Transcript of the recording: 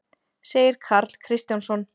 segir Karl Kristjánsson.